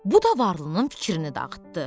Bu da Varlının fikrini dağıtdı.